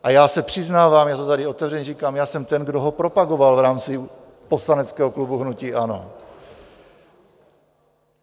A já se přiznávám, já to tady otevřeně říkám, já jsem ten, kdo ho propagoval v rámci poslaneckého klubu hnutí ANO.